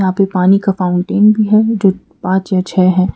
यहां पे पानी का फाउंटेन भी है जो पांच या छे है।